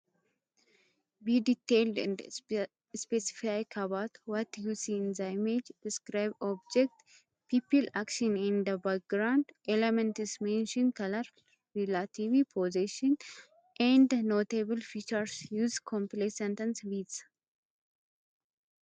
Be detailed and specific about what you see in the image Describe objects, people, actions, and background elements Mention colors, relative positions, and notable features Use complete sentences with